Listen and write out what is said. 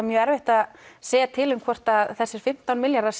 mjög erfitt að segja til um hvort þessir fimmtán milljarðar